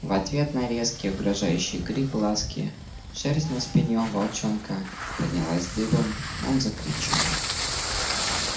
в ответ на резкий угрожающий крик ласки шерсть на спине у волчонка поднялась дыбом он закричал